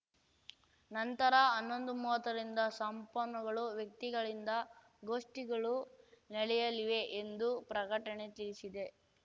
ನಂತರ ಹನ್ನೊಂದುಮುವತ್ತರಿಂದ ಸಂಪನ್ನುಗಳು ವ್ಯಕ್ತಿಗಳಿಂದ ಗೋಷ್ಠಿಗಳು ನಡೆಯಲಿವೆ ಎಂದು ಪ್ರಕಟಣೆ ತಿಳಿಸಿದೆ